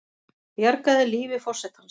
Bjargaði lífi forsetans